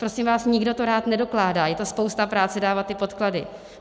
Prosím vás, nikdo to rád nedokládá, je to spousta práce dávat ty podklady.